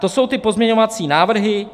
To jsou ty pozměňovací návrhy.